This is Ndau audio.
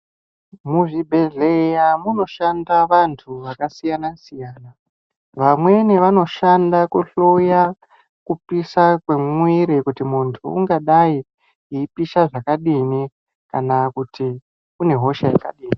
Muzvibhedhlera munoshanda vantu vakasiyana siyana vamweni vanoshanda kuhloya kupisa kwemwiri kuti muntu ungadai eipisha zvakadini kana kuti une hosha yakadini.